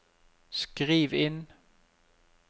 skriv inn